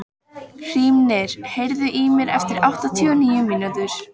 Hrímnir, heyrðu í mér eftir áttatíu og níu mínútur.